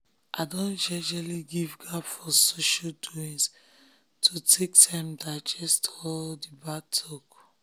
i don jejely give gap for social doings to take time digest all d bad talk